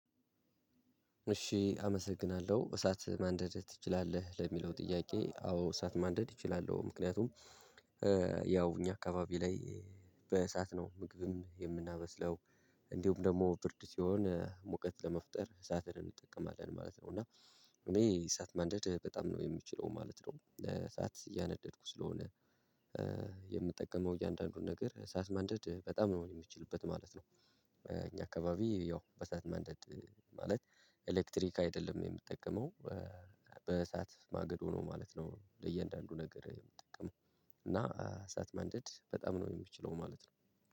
እሺ አመሰግናለሁ እሳት ማንደድ ትችላለህ ለሚለው ጥያቄ አዎ እሳት ማንደድ እችላለሁ ምክንያቱም ያው እኛ አካባቢ ላይ በእሳት ነው ምግብም የምናበስለው። እንዲሁም ደግሞ ብርድ ሲሆን ሙቀት ለመፍጠር እሳትን እንጠቀማለን ማለት ነው። እና እኔ እሳት ማንደድ በጣም ነው የምችለው ማለት ነው። እሳት እያነደድኩ ስለሆነ የምጠቀመው እያንዳንዱን ነገር እሳት ማንደድ በጣም ነው የምትችልበት ማለት ነው። እኛ አካባቢ ያው በእሳት ማንደድ ማለት ኤሌክትሪክ አይደለም የምጠቀመው። በእሳት ማገዶ ሆኖ ማለት ነው ለእያንዳንዱ ነገር የምጠቀመው። እና እሳት ማንደድ በጣም ነው የምችለው ማለት ነው።